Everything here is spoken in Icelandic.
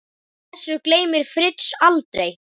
Þessu gleymir Fritz aldrei.